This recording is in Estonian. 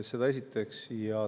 Seda esiteks.